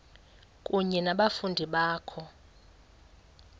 kunye nabafundi bakho